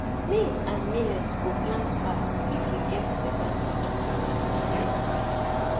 maize and millet go plant fast if you get better seed drill